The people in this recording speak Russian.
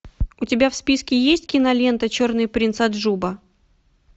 у тебя в списке есть кинолента черный принц аджуба